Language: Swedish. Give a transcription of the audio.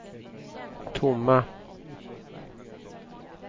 tomma